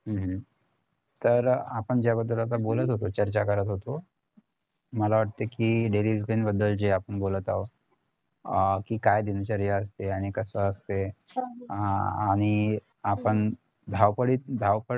हम्म हम्म तर आपण ज्या बद्दल आता बोलत होतो चर्चा करत होतो मला वाटतंय कि daily routine बद्दल जे आपण बोलत आहोत अं कि काय दिनचर्या असते आणि कसं असते हा आणि आपण धावपळीत अं धावपळ